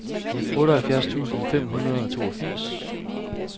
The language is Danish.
otteoghalvfjerds tusind fem hundrede og toogfirs